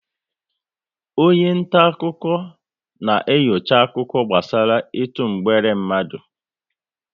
Onye nta akụkọ na enyocha akụkọ gbasara ịtụ mgbere mmadụ